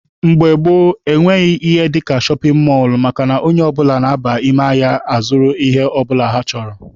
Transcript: Mgbe gboo, ọ nweghị ihe dịka shọpin mọlụ makana onye ọbụla na-aba ime ahịa a zụrụ ihe ọbụla ọ chọrọ.